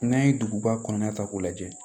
N'an ye duguba kɔnɔna ta k'o lajɛ